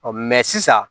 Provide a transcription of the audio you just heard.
sisan